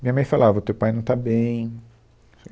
Minha mãe falava, o teu pai não está bem.